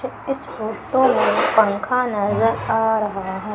इस फोटो में पंखा नजर आ रहा है।